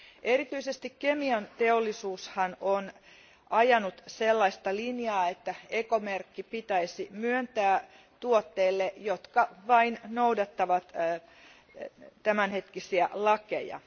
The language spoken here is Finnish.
Erityisesti kemianteollisuus on ajanut sellaista linjaa, että ekomerkki pitäisi myöntää tuotteille, jotka vain noudattavat tämänhetkisiä lakeja.